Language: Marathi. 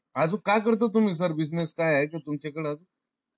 अजून काय करता sir तुम्ही Business? काही आहे का तुमच्याकड